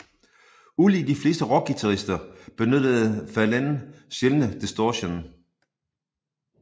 Ulig de fleste rockguitarister benyttede Verlaine sjældendt distortion